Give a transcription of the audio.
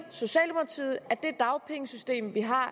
socialdemokratiet mener at det dagpengesystem vi har